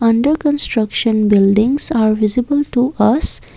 under construction building are visible to us.